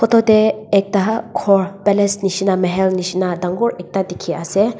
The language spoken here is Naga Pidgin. aru tarte ekta gour palace nisna Mahel nisna ekta dekhi ase.